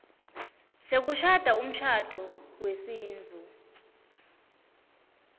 sekushada umshado wesintfu